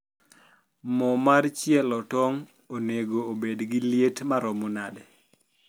mo mar chielo tong onego obed gi liet marom nade